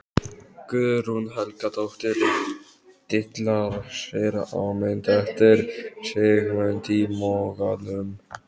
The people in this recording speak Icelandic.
Guðrún Helgadóttir dillar sér á mynd eftir Sigmund í Mogganum.